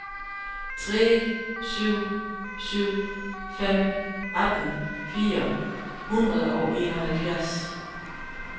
tre syv syv fem atten fire hundrede og enoghalvfjerds